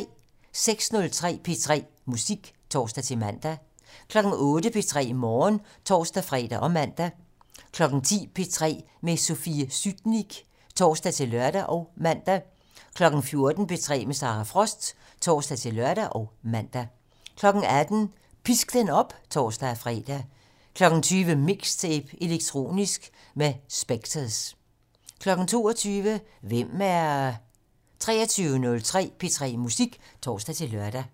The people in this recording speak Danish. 06:03: P3 Musik (tor-man) 08:00: P3 Morgen (tor-fre og man) 10:00: P3 med Sofie Sytnik (tor-lør og man) 14:00: P3 med Sara Frost (tor-lør og man) 18:00: Pisk den op (tor-fre) 20:00: MIXTAPE - Elektronisk med Specktors 22:00: Hvem er... 23:03: P3 Musik (tor-lør)